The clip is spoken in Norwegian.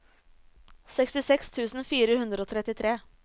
sekstiseks tusen fire hundre og trettitre